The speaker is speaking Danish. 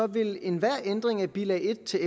vil enhver ændring af bilag en til